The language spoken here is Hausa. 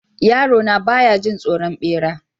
Yarona ba ya jin tsoron bera.